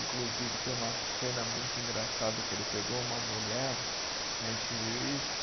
Inclusive, tem uma cena muito engraçada que ele pegou uma mulher, a gente viu isso,